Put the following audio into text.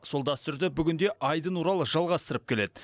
сол дәстүрді бүгін де айдын орал жалғастырып келеді